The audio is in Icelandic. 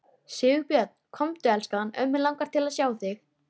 Sigurbjörn. komdu elskan. ömmu langar til að sjá þig!